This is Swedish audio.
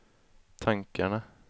tankarna